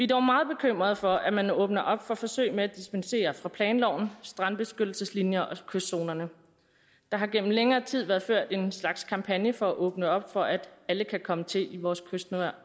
dog meget bekymret for at man åbner op for forsøg med at dispensere fra planloven strandbeskyttelseslinjerne og kystzonerne der har gennem længere tid været ført en slags kampagne for at åbne op for at alle kan komme til i vores kystnære